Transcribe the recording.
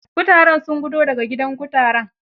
Kutaren sun gudo da ga gidaan kutaren.